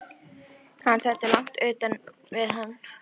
Hann stendur langt utan við hann.